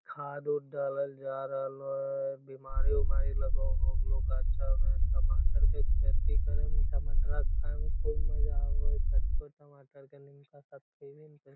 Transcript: खाद उद डालल जा रहलो हेय बीमारी उमारी लगे होअ हो गलो गाच्छा मे टमाटर के खेती करे मे टमाटरा खाय में खूब मजा आवे होय कच्चो टमाटर के नीमका साथ खेभी ने ते --